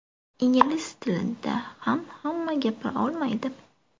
Ingliz tilida ham hamma gapira olmaydi.